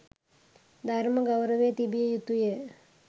ධර්ම ගෞරවය තිබිය යුතුය